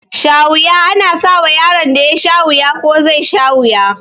Shawuya ana sawa yaron da yasha wuya ko zai sha wuya